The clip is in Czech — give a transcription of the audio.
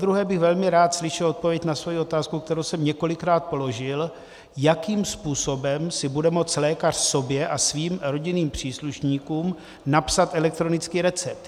Zadruhé bych velmi rád slyšel odpověď na svoji otázku, kterou jsem několikrát položil, jakým způsobem si bude moct lékař sobě a svým rodinným příslušníkům napsat elektronický recept.